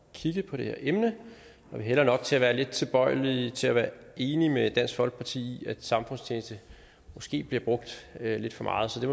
kigge på det her emne vi hælder nok til at være lidt tilbøjelige til at være enige med dansk folkeparti i at samfundstjeneste måske bliver brugt lidt for meget så vi